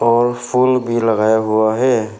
और फूल भी लगाया हुआ है।